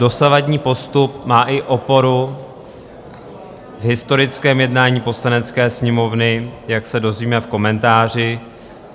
Dosavadní postup má i oporu v historickém jednání Poslanecké sněmovny, jak se dozvíme v komentáři.